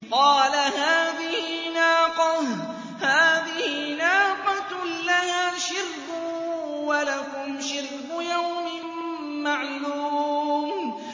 قَالَ هَٰذِهِ نَاقَةٌ لَّهَا شِرْبٌ وَلَكُمْ شِرْبُ يَوْمٍ مَّعْلُومٍ